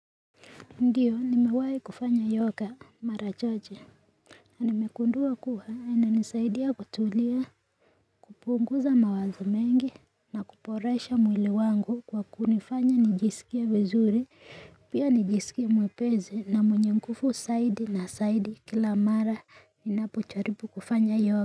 Ndiyo nimewahi kufanya yoga mara chache na nimegundua kuwa na inanisaidia kutulia kupunguza mawazo mengi na kuboresha mwili wangu kwa kunifanya nijisikie vizuri Pia nijisikie mwepesi na mwenye nguvu zaidi na zaidi kila mara ninapo jaribu kufanya yoga.